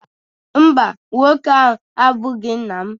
mba, nwoke ahụ abụghị nna m